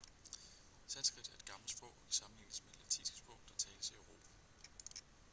sanskrit er et gammelt sprog og kan sammenlignes med det latinske sprog der tales i europa